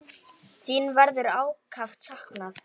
Þín verður ákaft saknað.